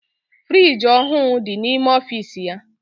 Friiji ọhụụ dị n'ime ọfiisi ya.